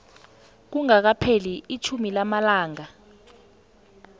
kungakapheli itjhumi lamalanga